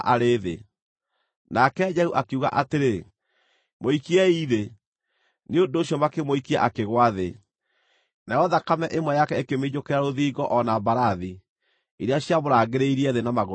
Nake Jehu akiuga atĩrĩ, “Mũikiei thĩ!” Nĩ ũndũ ũcio makĩmũikia akĩgũa thĩ, nayo thakame ĩmwe yake ĩkĩminjũkĩra rũthingo o hamwe na mbarathi iria ciamũrangagĩrĩria thĩ na magũrũ ma cio.